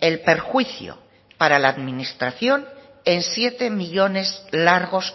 el perjuicio para la administración en siete millónes largos